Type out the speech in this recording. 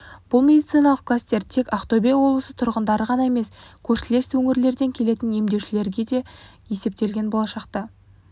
бұл медициналық кластер тек ақтөбе облысы тұрғындары ғана емес көршілес өңірлерден келетін емделушілерге де есептелген болашақта